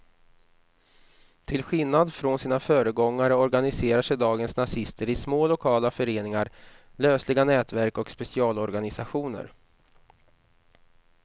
Till skillnad från sina föregångare organiserar sig dagens nazister i små lokala föreningar, lösliga nätverk och specialorganisationer.